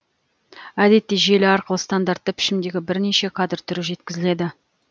әдетте желі арқылы стандартты пішімдегі бірнеше кадр түрі жеткізіледі